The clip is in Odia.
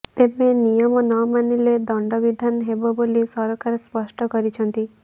ତେବେ ନିୟମ ନମାନିଲେ ଦଣ୍ଡବିଧାନ ହେବ ବୋଲି ସରକାର ସ୍ପଷ୍ଟ କରିଛନ୍ତି